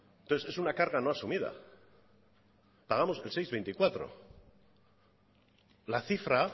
entonces es una carta no asumida pagamos el seis coma veinticuatro la cifra